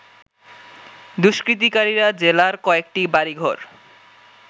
দুষ্কৃতকারীরা জেলার কয়েকটি বাড়িঘর